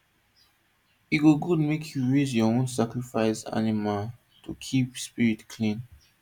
e good make you raise your own sacrifice animal to keep spirit clean